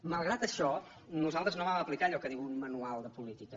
malgrat això nosaltres no vam aplicar allò que diu un manual de política